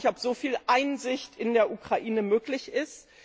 Ich weiß nicht, ob so viel Einsicht in der Ukraine möglich ist.